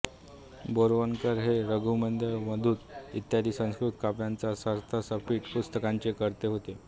बोरवणकर हे रघुवंशमेघदूत इत्यादि संस्कृत काव्यांच्या सार्थसटीप पुस्तकांचे कर्ते होते